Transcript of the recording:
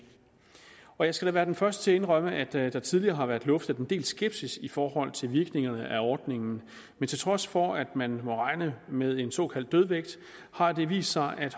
jeg skal da være den første til at indrømme at der tidligere har været luftet en del skepsis i forhold til virkningerne af ordningen men til trods for at man må regne med en såkaldt dødvægt har det vist sig at